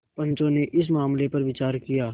पंचो ने इस मामले पर विचार किया